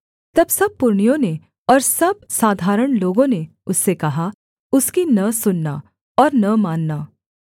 तब सब पुरनियों ने और सब साधारण लोगों ने उससे कहा उसकी न सुनना और न मानना